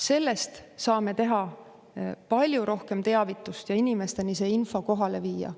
Sellest me saame palju rohkem teavitada ja inimesteni selle info kohale viia.